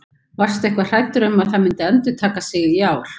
Varstu eitthvað hræddur um að það myndi endurtaka sig í ár?